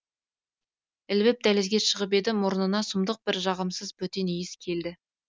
ілбіп дәлізге шығып еді мұрнына сұмдық бір жағымсыз бөтен иіс келді